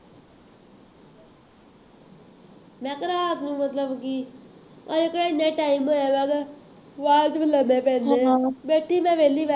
ਮੈਂ ਤਾਂ ਰਾਤ ਨੂੰ ਮਤਲਬ ਕਿ ਹਜੇ ਕਿਹੜਾ ਐਨਾ time ਹੋਇਆ ਹੈਗਾ ਉਹਦਾ, ਰਾਤ ਨੂੰ ਲਾਉਂਦੇ ਹਾਂ ਪੈਂਦੇ ਹੋਏ ਬੈਠੀ ਮੈਂ ਵਿਹਲੀ ਮੈਂ